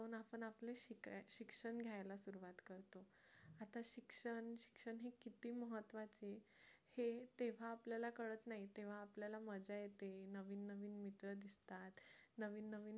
शिक्षण घ्यायला सुरुवात करतो आता शिक्षण शिक्षण किती महत्त्वाचं हे तेव्हा आपल्याला कळत नाही तेव्हा आपल्याला मजा येते नवीन नवीन मित्र दिसतात नवीन नवीन